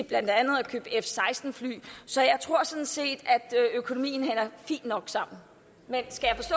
blandt andet at købe f seksten fly så jeg tror sådan set at økonomien hænger fint nok sammen men